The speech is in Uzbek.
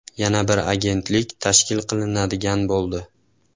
Yana bir agentlik tashkil qilinadigan bo‘ldi.